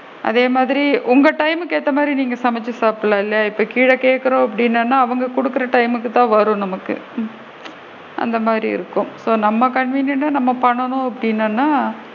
அதே மாதிரி உங்க time க்கு ஏத்த மாதிரி நீங்க சாப்பிடலாம் இல்லையா இப்ப கீழ கேக்குறோம் அப்படின்னா அவுங்க குடுக்குற time க்கு வரும் நமக்கு அந்த மாதிரி இருக்கும் இப்போ நம்ம convenient டா நம்ம பண்ணனும் அப்படினோம்னா?